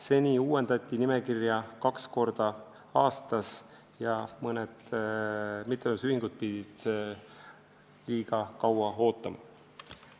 Seni uuendati nimekirja kaks korda aastas ja mõned mittetulundusühingud pidid liiga kaua ootama.